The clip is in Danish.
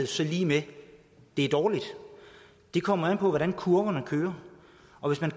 så lig med at det er dårligt det kommer an på hvordan kurverne kører